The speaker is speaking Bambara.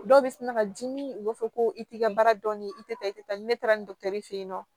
Dɔw bɛ sina ka dimi u b'a fɔ ko i t'i ka baara dɔn ni i tɛ taa i tɛ taa ni ne taara fɛ yen nɔ